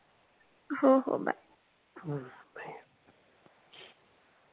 हो हो बाय